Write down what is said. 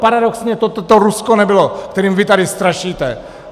Paradoxně to Rusko nebylo, kterým vy tady strašíte.